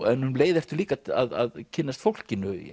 en um leið ertu líka að kynnast fólkinu